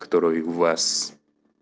которой в вас